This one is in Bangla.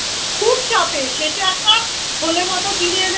খুব চাপের শেষে একটা থলে মত কিনে এনে